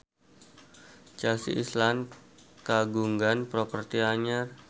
Chelsea Islan kagungan properti anyar